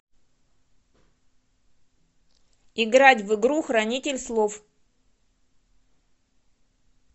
играть в игру хранитель слов